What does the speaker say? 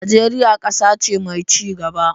Najeriya kasa ce mai ci gaba.